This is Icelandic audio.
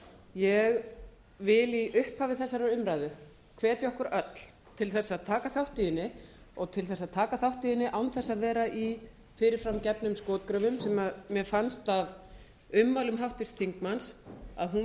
ég vil í upphafi þessarar umræðu hvetja okkur öll til að taka þátt í henni og til að taka þátt í henni án þess að vera í fyrirfram gefnum skotgröfum sem mér fannst af ummælum háttvirts þingmanns að hún